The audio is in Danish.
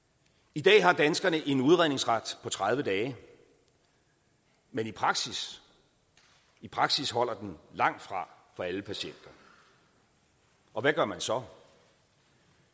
i dag har danskerne en udredningsret på tredive dage men i praksis i praksis holder den langtfra for alle patienter og hvad gør man så